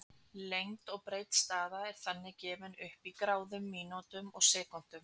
Lengd og breidd staða er þannig gefin upp í gráðum, mínútum og sekúndum.